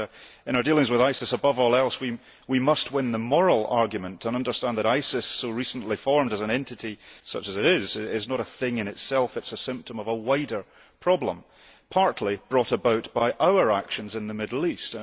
In our dealings with ISIS, above all else we must win the moral argument and understand that ISIS, so recently formed as an entity such as it is is not a thing in itself it is a symptom of a wider problem partly brought about by our actions in the Middle East.